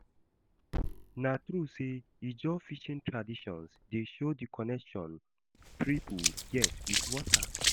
Na true sey Ijaw fishing traditions dey show di connection pipo get wit water?